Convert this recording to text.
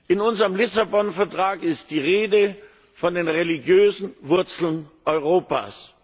In unserem Lissabon Vertrag ist die Rede von den religiösen Wurzeln Europas.